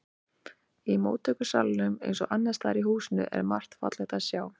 Í móttökusalnum eins og annars staðar í húsinu er margt fallegt að sjá.